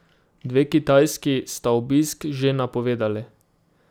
Dve kitajski sta obisk že napovedali.